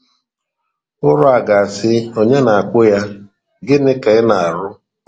Ụrọ a ga-asị onye na-akpụ ya, Gịnị ka ị na-arụ? ”